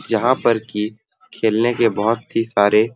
यहाँ पर की खेलने के बहुत ही सारे--